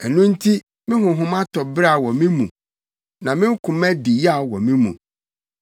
Ɛno nti me honhom atɔ beraw wɔ me mu; na me koma di yaw wɔ me mu.